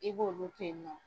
I b'olu toyinɔ.